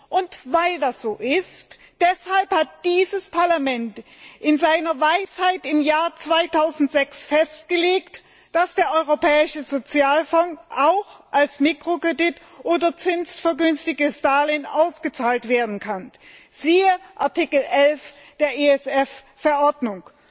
Und weil das so ist, hat dieses Parlament in seiner Weisheit im Jahr 2006 festgelegt, dass Mittel aus dem Europäischen Sozialfonds auch als Mikrokredit oder zinsvergünstigtes Darlehen ausgezahlt werden können, wie in Artikel 11 der ESF Verordnung